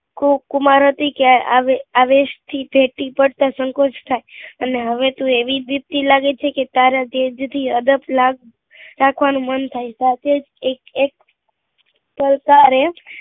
કો કુમાર હતી આવે અવેશ થી ટેટી પડતા સંકોચ થાય અને હવે તું એવી ઝીદ્દી લાગે છે કે તારા તેઝ થી અદપ લાગ રાખવા નું મન થાય સાથે જ એક એક